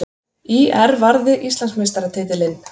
ÍR varði Íslandsmeistaratitilinn